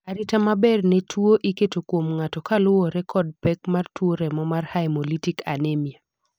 arita maber ne tuo iketo kuom ng'ato kaluwore kod pek mar tuo remo mar haemolytic anemia